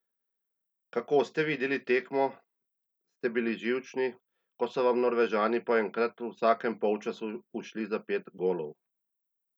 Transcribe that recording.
Kako ste videli tekmo, ste bili živčni, ko so vam Norvežani po enkrat v vsakem polčasu ušli za pet golov?